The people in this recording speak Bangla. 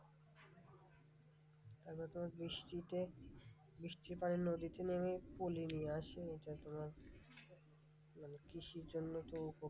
তারপরে তোমার বৃষ্টিতে বৃষ্টির পড়ে নদীতে নেমে পলি নিয়ে আসে এটা তোমার মানে কৃষির জন্য তো উপকারী।